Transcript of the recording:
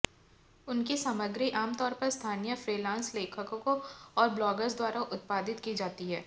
उनकी सामग्री आम तौर पर स्थानीय फ्रीलांस लेखकों और ब्लॉगर्स द्वारा उत्पादित की जाती है